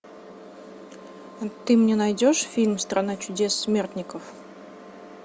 ты мне найдешь фильм страна чудес смертников